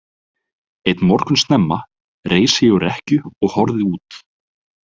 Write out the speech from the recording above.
Einn morgun snemma reis ég úr rekkju og horfði út.